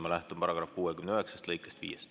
Ma lähtun § 69 lõikest 5.